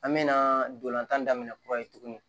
An mɛna dolan tan daminɛ kura ye tugunni